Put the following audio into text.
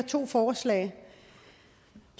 to forslag